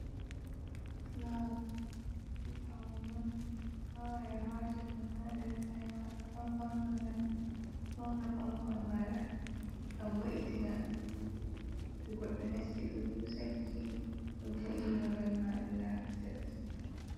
Fulawa paune on a yaha wata ɗum ha der saare maɗa, ngam paune maɗa a fauna kompaun maɗa a vo’itina to goɗɗo nasti ɗo husa gite, ɗo vo’i na babal ma, ɗo labi tas.